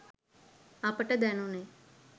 අපට දැනුනේ